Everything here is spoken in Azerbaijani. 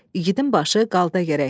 İgidim başı qalda gərək.